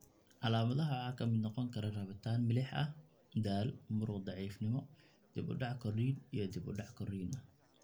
Calaamadaha waxaa ka mid noqon kara rabitaan milix ah, daal, muruq daciifnimo, dib u dhac korriin iyo dib u dhac korriin ah.